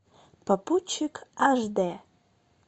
попутчик аш д